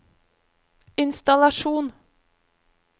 innstallasjon